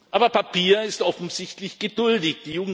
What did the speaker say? Aber Papier ist offensichtlich geduldig.